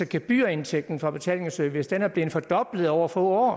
gebyrindtægten fra betalingsservice var blevet fordoblet over få år og